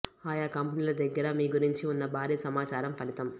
ఆయా కంపెనీల దగ్గర మీ గురించి ఉన్న భారీ సమాచారం ఫలితం